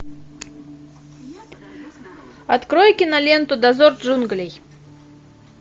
открой киноленту дозор джунглей